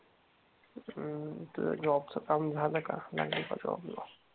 हम्म तुझं जॉब चं काम झालं का? लागली का जॉब ला?